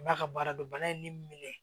N b'a ka baara dɔn bana ye ne minɛ